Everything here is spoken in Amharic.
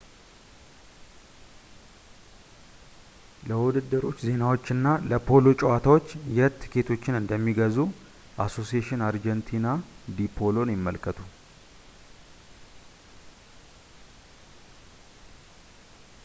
ለውድድሮች ዜናዎችና ለፖሎ ጨዋታዎች የት ትኬቶችን እንደሚገዙ አሶሴሽን አርጀንቲና ዲ ፖሎን ይመልከቱ